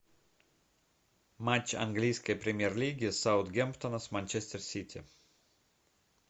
матч английской премьер лиги саутгемптона с манчестер сити